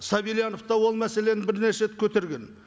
сабильянов та ол мәселені бірнеше рет көтерген